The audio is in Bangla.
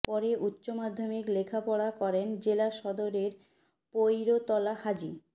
পরে উচ্চ মাধ্যমিক লেখাপড়া করেন জেলা সদরের পৈরতলা হাজী